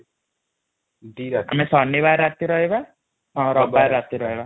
ଆମେ ଶନିବାର ରାତି ରେ ରହିବା ରବିବାର ରାତି ର ରହିବା |